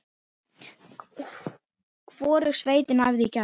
Hvorug sveitin æfði í gær.